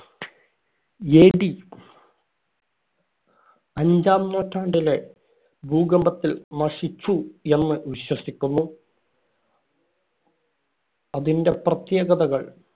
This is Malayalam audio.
AD അഞ്ചാം നൂറ്റാണ്ടിലെ ഭൂകമ്പത്തിൽ നശിച്ചു എന്ന് വിശ്വസിയ്ക്കുന്നു അതിന്‍റെ പ്രത്യേകതകള്‍.